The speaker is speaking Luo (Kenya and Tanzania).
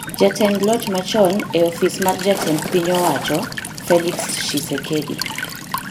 Jatend loch machon e Ofis mar Jatend Piny owacho Felix Tshisekedi